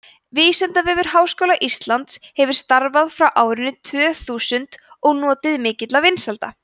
vísindavefur háskóla íslands hefur starfað frá árinu tvö þúsund og notið mikilla vinsælda